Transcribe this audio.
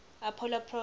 apollo program